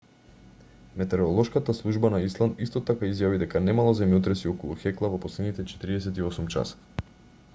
метеоролошката служба на исланд исто така изјави дека немало земјотреси околу хекла во последните 48 часа